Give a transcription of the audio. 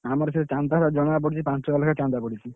ଆମର ସେଇଆ ଚାନ୍ଦା ଜଣକା ପାଞ୍ଚ ହଜାର ଲେଖାଁ ଚାନ୍ଦା ପଡୁଛି।